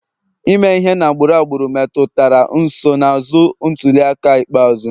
Ime ihe na agbụrụ agbụrụ metụtara nsonaazụ ntuli aka ikpeazụ